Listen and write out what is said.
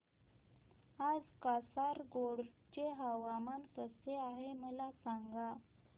आज कासारगोड चे हवामान कसे आहे मला सांगा